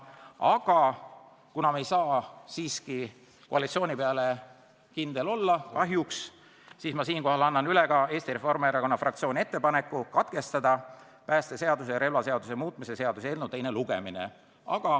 Aga kuna me kahjuks ei saa koalitsiooni peale kindlad olla, siis annan ma üle Eesti Reformierakonna fraktsiooni ettepaneku katkestada päästeseaduse ja relvaseaduse muutmise seaduse eelnõu teine lugemine.